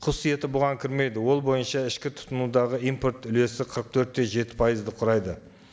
құс еті бұған кірмейді ол бойынша ішкі тұтынудағы импорт үлесі қырық төрт те жеті пайызды құрайды